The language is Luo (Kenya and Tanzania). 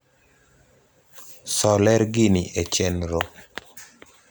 so ler gini e chenro